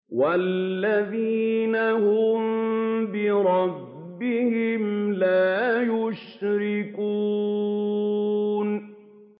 وَالَّذِينَ هُم بِرَبِّهِمْ لَا يُشْرِكُونَ